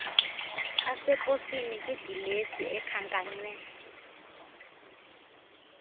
aseposini kwidilesi ekhankanywe